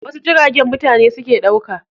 Wasu jiragen mutane suke ɗauka.